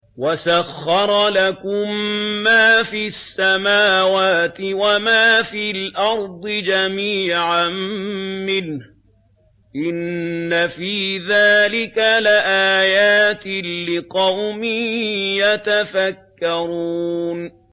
وَسَخَّرَ لَكُم مَّا فِي السَّمَاوَاتِ وَمَا فِي الْأَرْضِ جَمِيعًا مِّنْهُ ۚ إِنَّ فِي ذَٰلِكَ لَآيَاتٍ لِّقَوْمٍ يَتَفَكَّرُونَ